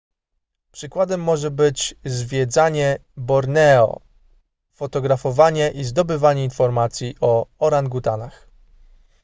przykładem może być zwiedzanie borneo fotografowanie i zdobywanie informacji o orangutanach